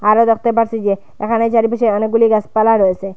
আমরা দেখতে পারছি যে এখানে চারিপাশে অনেকগুলি গাছপালা রয়েছে।